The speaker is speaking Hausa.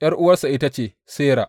’Yar’uwarsa ita ce Sera.